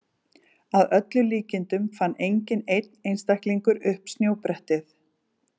Að öllum líkindum fann enginn einn einstaklingur upp snjóbrettið.